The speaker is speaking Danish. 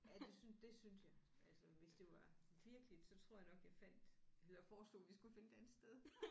Ja det synes det synes jeg altså hvis det var virkeligt så tror jeg nok jeg fandt eller foreslog vi skulle finde et andet sted